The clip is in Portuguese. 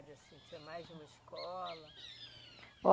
Assim, tinha mais de uma escola? Ó